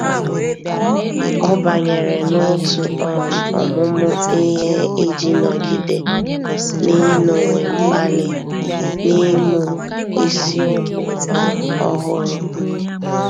Ọ́ bányèrè n’òtù um ọ́mụ́mụ́ ihe iji nọ́gídé n’ị́nọ́wé mkpali n’ị́mụ́ isiokwu um ọ́hụ́rụ́.